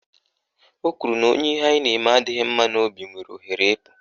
O kwuru na onye ihe anyị na-eme adịghị mma n'obi nwere ohere iji pụọ